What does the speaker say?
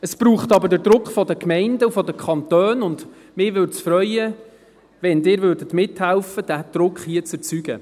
Das braucht aber den Druck der Gemeinden und der Kantone, und es würde mich freuen, wenn Sie mithälfen, diesen Druck hier zu erzeugen.